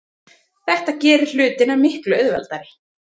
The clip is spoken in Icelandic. Þetta gerir hlutina miklu auðveldari.